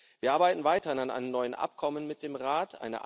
Wir arbeiten weiterhin an einem neuen Abkommen mit dem Rat.